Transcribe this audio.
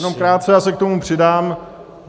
Jenom krátce, já se k tomu přidám.